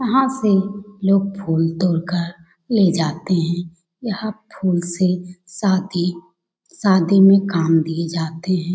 यहाँ से लोग फूल तोड़कर ले जाते है यहाँ फूल से शादी मे काम लिए जाते है।